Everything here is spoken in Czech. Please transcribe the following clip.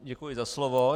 Děkuji za slovo.